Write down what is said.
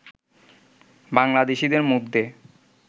বাংলাদেশিদের মধ্যে